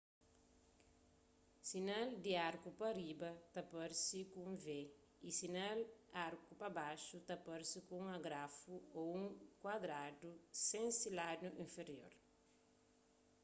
sinal di arku pa riba ta parse ku un v y sinal arku pa baxu ta parse ku un agrafu ô un kuadradu sen se ladu infirior